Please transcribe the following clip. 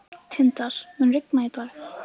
Tindar, mun rigna í dag?